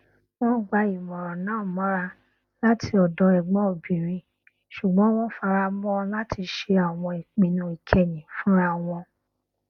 wọn gba ìmọràn náà mọra láti ọdọ ẹgbọn obìnrin ṣugbọn wọn fara mọ láti ṣe àwọn ìpinnu ìkẹyìn fúnra wọn